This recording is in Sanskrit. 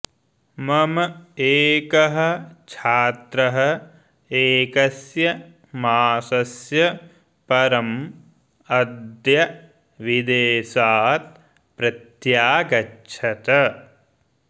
मम एकः छात्रः एकस्य मासस्य परम् अद्य विदेशात् प्रत्यागच्छत्